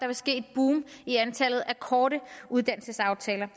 vil ske et boom i antallet af korte uddannelsesaftaler